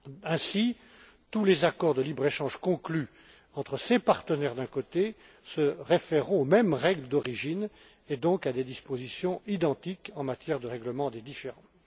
Ainsi, tous les accords de libre échange conclus entre ces partenaires, se réfèreront aux mêmes règles d'origine, et donc à des dispositions identiques en matière de règlement des différends.